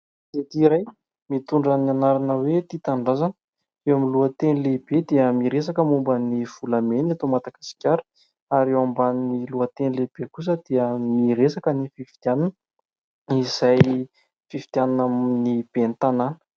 Gazety iray mitondra ny anarana hoe : "Tia tanindrazana". Eo amin'ny lohateny lehibe dia miresaka momban'ny volamena eto Madagasikara ary eo ambanin'ny lohateny lehibe kosa dia miresaka ny fifidianana izay fifidianana ny ben'ny tanàna.